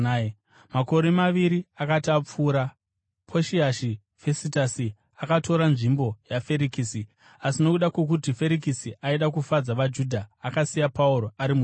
Makore maviri akati apfuura, Poshiasi Fesitasi akatora nzvimbo yaFerikisi, asi nokuda kwokuti Ferikisi aida kufadza vaJudha, akasiya Pauro ari mutorongo.